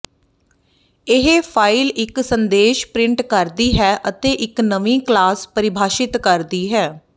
ਇਹ ਫਾਇਲ ਇੱਕ ਸੰਦੇਸ਼ ਪ੍ਰਿੰਟ ਕਰਦੀ ਹੈ ਅਤੇ ਇੱਕ ਨਵੀਂ ਕਲਾਸ ਪਰਿਭਾਸ਼ਿਤ ਕਰਦੀ ਹੈ